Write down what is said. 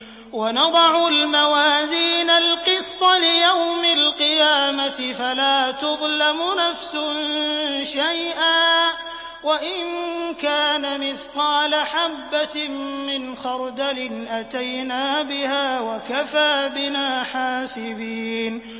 وَنَضَعُ الْمَوَازِينَ الْقِسْطَ لِيَوْمِ الْقِيَامَةِ فَلَا تُظْلَمُ نَفْسٌ شَيْئًا ۖ وَإِن كَانَ مِثْقَالَ حَبَّةٍ مِّنْ خَرْدَلٍ أَتَيْنَا بِهَا ۗ وَكَفَىٰ بِنَا حَاسِبِينَ